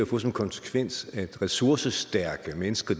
få som konsekvens at ressourcestærke mennesker